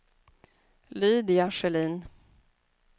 Lydia Sjölin